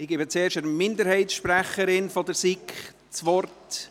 Ich gebe zuerst der Minderheitssprecherin der SiK das Wort: